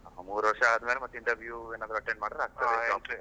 ಮೂರೂ ವರ್ಷ ಆದ್ಮೇಲೆ, ಮತ್ತೆ ಏನಾದ್ರು interview attend .